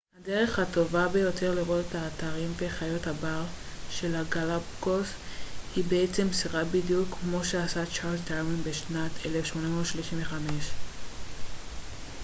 הדרך הטובה ביותר לראות את האתרים וחיות הבר של הגלאפגוס היא באמצעות סירה בדיוק כמו שעשה צ'ארלס דרווין בשנת 1835